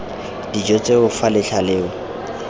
dijo tseo fa letlha leo